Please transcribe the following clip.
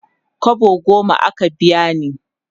kwabo goma aka biya ni